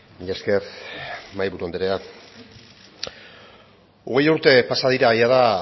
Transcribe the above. mila esker mahaiburu andrea hogei urte pasa dira jada